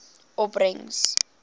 opbrengs